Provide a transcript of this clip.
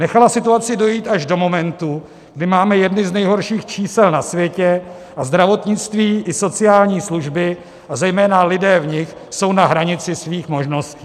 Nechala situaci dojít až do momentu, kdy máme jedny z nejhorších čísel na světě, a zdravotnictví i sociální služby, a zejména lidé v nich, jsou na hranici svých možností.